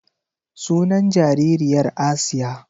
Sunan jaririyar Asiya.